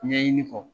Ɲɛɲini kɔ